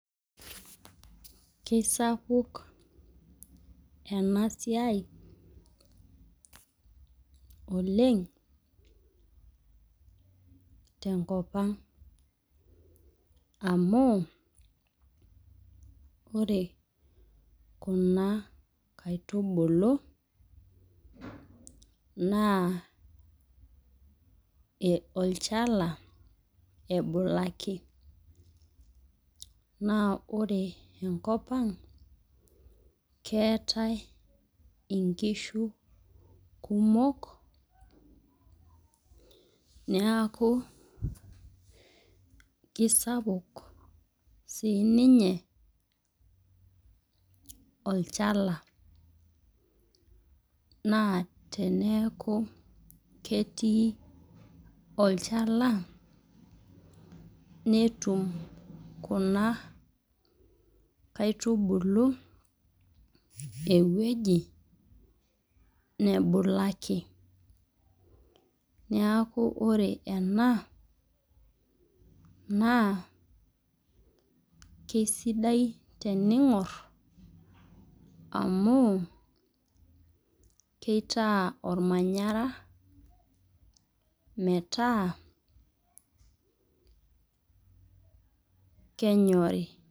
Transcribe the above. Kisapuk enasiai oleng tenkopang amu ore kuna aitubulu naa olchala ebulaki , naa ore enkopang naa keetae inkishu kumok oleng niaku kisapuk sininye olchala, naa teneaku ketii olchala netum kuna aitubulu ewueji nebulaki .Niaku ore ena naa kisidai teningor amu kitaa ormanyara metaa kenyori .